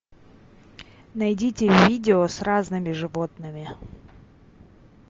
найдите видео с разными животными